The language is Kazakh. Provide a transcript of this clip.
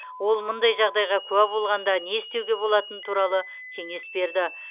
ол мұндай жағдайға куә болғанда не істеуге болатыны туралы кеңес берді